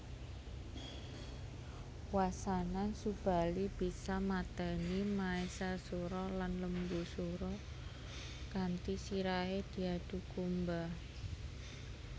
Wasana Subali bisa mateni Maesasura lan Lembusura kanthi sirahe diadhu kumba